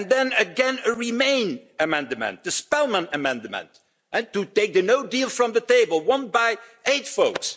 And then again a Remain amendment, the Spellman amendment to take the no deal from the table won by 8 votes!